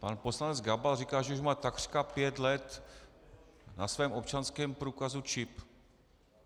Pan poslanec Gabal říká, že už má takřka pět let na svém občanském průkazu čip.